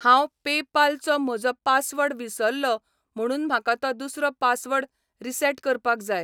हांव पेपाल चो म्हजो पासवर्ड विसरलो म्हणून म्हाका तो दुसरो पासवर्ड रिसेट करपाक जाय.